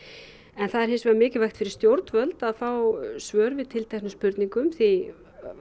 en það er hins vegar mikilvægt fyrir stjórnvöld að fá svör við tilteknum spurningum því